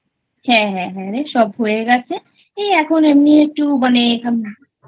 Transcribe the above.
হ্যাঁ হ্যাঁ হ্যাঁ রে সব হয়ে গেছে এই এখন এমনি একটু মানে